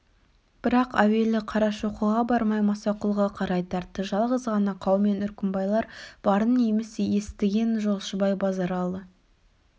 бірақ әуелі қарашоқыға бармай мұсақұлға қарай тартты жалғыз ғана қаумен үркімбайлар барын еміс естіген жолшыбай базаралы